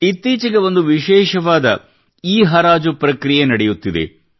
ಇತ್ತೀಚಿಗೆ ಒಂದು ವಿಶೇಷವಾದ ಇಲೆಕ್ಟ್ರಾನಿಕ್ಹರಾಜು ಪ್ರಕ್ರಿಯೆ ನಡೆಯುತ್ತಿದೆ